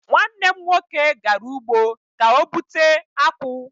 Nwanne m nwoke gara ugbo ka o bụte akwu